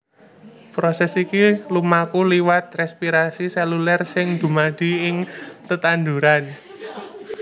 Prosès iki lumaku liwat rèspirasi sélulèr sing dumadi ing tetanduran